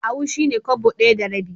Ahu shi ne Kwabo ɗaya da rabi.